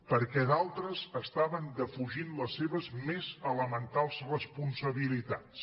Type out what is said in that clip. perquè d’altres estaven defugint les seves més elementals responsabilitats